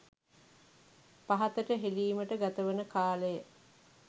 පහතට හෙළීමට ගතවන කාලය